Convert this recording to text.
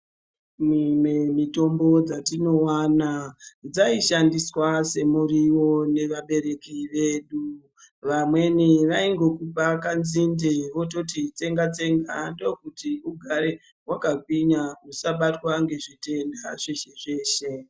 Mimwe mitombo dzatinowana dzaishandiswa semuriwo nevabereki vedu. Vamweni vaingokupa kanzinde voti tsenga tsenga ndokuti ugare wakagwinya usabatwa nezvitenda zveshe zveshe.